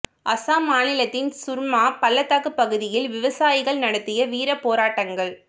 அஸ்ஸாம் மாநிலத்தின் சுர்மா பள்ளத்தாக்குப் பகுதியில் விவசாயிகள் நடத்திய வீரப் போராட்டங்கள்